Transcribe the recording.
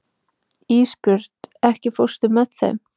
Ísbjört, ekki fórstu með þeim?